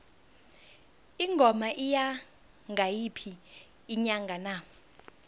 ingoma iya ngayiphi inyanga na